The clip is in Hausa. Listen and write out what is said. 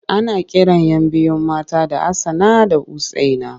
Ana kiran 'yan biyu mata da Hassana da Usaina.